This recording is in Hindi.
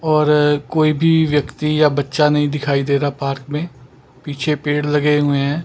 और कोई भी व्यक्ति या बच्चा नहीं दिखाई दे रहा पार्क में पीछे पेड़ लगे हुए हैं।